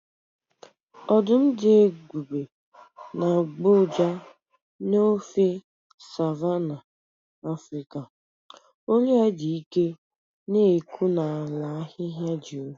Ọdụm dị ebube na-agbọ ụja n’ofe Savanna Afrịka, olu ya dị ike na-ekwu n’ala ahịhịa juru.